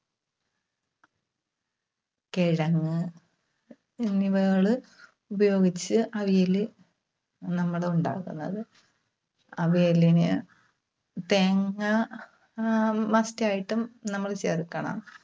കിഴങ്ങ് എന്നിവകള് ഉപയോഗിച്ച് അവിയല് നമ്മള് ഉണ്ടാക്കുന്നത്. അവിയലിന് തേങ്ങ ആഹ് must ആയിട്ടും നമ്മള് ചേർക്കണം.